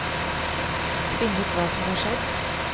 Finne ut hva som har skjedd.